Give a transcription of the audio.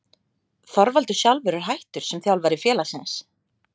Þorvaldur sjálfur er hættur sem þjálfari félagsins.